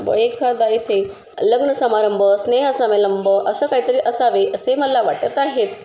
व एखादा येथे लग्न समारंभ स्नेह संमेलम्ब असं काही तरी असावे असं मला वाटत आहे.